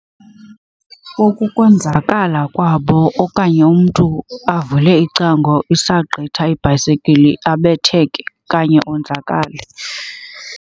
Ukonzakala kwabo okanye umntu avule icango isagqitha ibhayisekili abetheke okanye onzakale.